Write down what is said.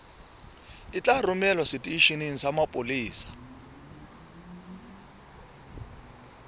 tla romelwa seteisheneng sa mapolesa